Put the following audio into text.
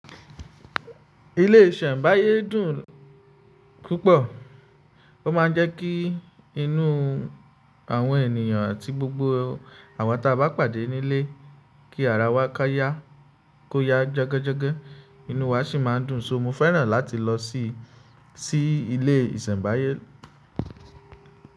Ilé ìsẹ̀mbáyé dùn púpọ̀. Ó ma ń jẹ́ kí inú. Awọn ènìyàn àti gbogbo àwa tí a bá pàdé nílé, kí ara wa ka ya, kó yá jágájágá, inú wa sì máa ń dùn. So mo fẹ́ràn láti lọ síi, si ilé ìsẹ̀mbáyé.